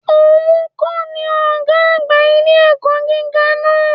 Ò nkọ́ ni Ògá àgbà ilé-ẹ̀kọ́ gíga náà